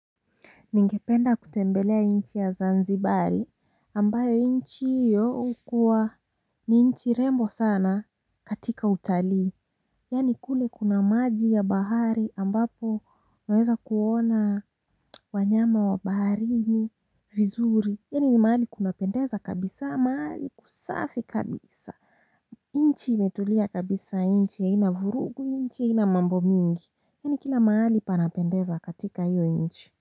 Ningependa kutembelea nchi ya zanzibari ambayo nchi hiyo hukuwa ni nchi rembo sana katika utalii. Yaani kule kuna maji ya bahari ambapo naweza kuona wanyama wa baharini vizuri. Yaani ni mahali kunapendeza kabisa, mahali kusafi kabisa. Nchi imetulia kabisa, nchi haina vurugu, nchi haina mambo mingi. Yaani kila mahali panapendeza katika hiyo nchi.